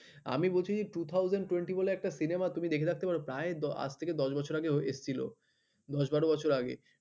আমি বলছি যে two thousand twenty বলে প্রায় আজ থেকে দশ বছর আগেও এসছিল দশ বারো বছর আগে